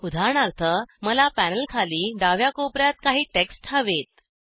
उदाहरणार्थ मला पॅनलखाली डाव्या कोपर्यात काही टेक्स्ट हवेत